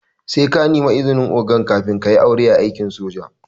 Sai ka nemi izinin oganka kafin kayi aure a aikin soji